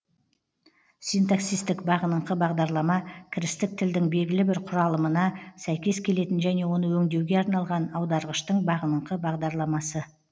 синтаксистік бағыныңқы бағдарлама кірістік тілдің белгілі бір құралымына сәйкес келетін және оны өңдеуге арналған аударғыштың бағыныңқы бағдарламасы